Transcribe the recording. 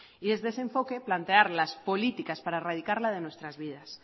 y desde ese enfoque plantear las políticas para erradicarla de nuestras vidas